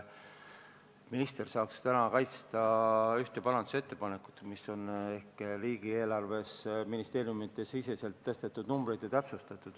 Minister saaks täna kaitsta ühte parandusettepanekut, kus on kirjas summade täpsustused ministeeriumide siseselt.